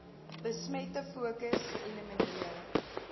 besmette fokus geelimineer